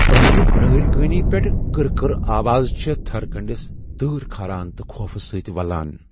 پرانہِ برٲرۍ كٲنی پیٹھہٕ كٕر كٕر آواز چھےٚ تھٕر كنڈِس تٲر كھاران تہٕ خوف سۭتۍ ولان ۔